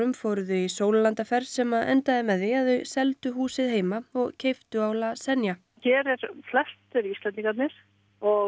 fóru þau í sólarlandaferð sem endaði með því að þau seldu húsið heima og keyptu á la Zenia hér eru flestir Íslendingarnir og